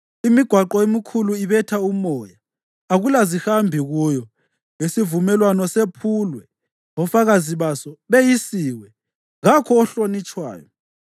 Imigwaqo emikhulu ibetha umoya, akulazihambi kuyo. Isivumelwano sephulwe, ofakazi baso beyisiwe, kakho ohlonitshwayo.